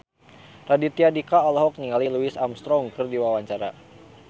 Raditya Dika olohok ningali Louis Armstrong keur diwawancara